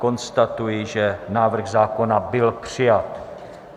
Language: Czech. Konstatuji, že návrh zákona byl přijat.